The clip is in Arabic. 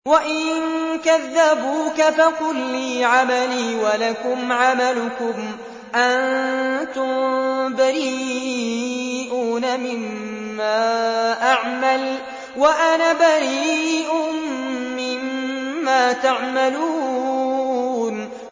وَإِن كَذَّبُوكَ فَقُل لِّي عَمَلِي وَلَكُمْ عَمَلُكُمْ ۖ أَنتُم بَرِيئُونَ مِمَّا أَعْمَلُ وَأَنَا بَرِيءٌ مِّمَّا تَعْمَلُونَ